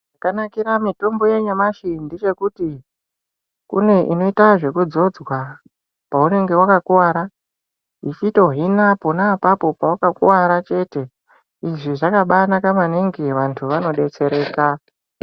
Zvakanakira mitombo yanyamashi ndechekuti kune inoita zveku dzodzwa paunenge wakakuvara ichito hina pona apapo pawakakuvara chete izvi zvakaba naka maningi vantu ano detsereka.